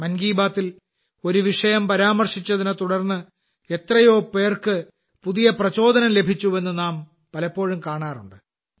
മൻ കി ബാത്തിൽ ഒരു വിഷയം പരാമർശിച്ചതിനെ തുടർന്ന് എത്രയോ പേർക്ക് പുതിയ പ്രചോദനം ലഭിച്ചുവെന്ന് നാം പലപ്പോഴും കാണാറുണ്ട്